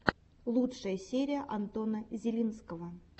лучшая серия антона зелинского